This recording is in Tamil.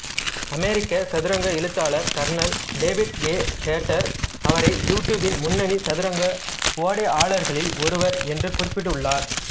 அமெரிக்க சதுரங்க எழுத்தாளர் கர்னல் டேவிட் ஏ ஹேட்டர் அவரை யூடியூப்பின் முன்னணி சதுரங்க ஓடையாளர்களில் ஒருவர் என்று குறிப்பிட்டுள்ளார்